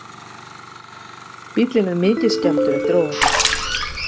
Bíllinn er mikið skemmdur eftir óhappið